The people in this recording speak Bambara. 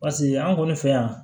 Paseke an kɔni fɛ yan